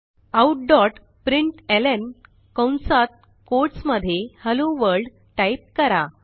outप्रिंटलं कंसात कोट्स मध्ये hello world type करा